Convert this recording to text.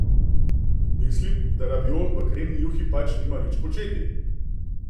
Mislim, da raviol v kremni juhi pač nima nič početi.